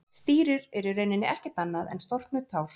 Stírur eru í rauninni ekkert annað en storknuð tár.